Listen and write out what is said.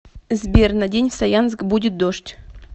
сбер на день в саянск будет дождь